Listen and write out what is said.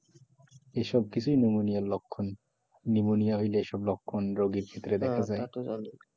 এইসব কিছুই নিউমোনিয়া লক্ষণ নিউমোনিয়া হইলে এইসব লক্ষণ রোগীর ভিতরে দেখা যায়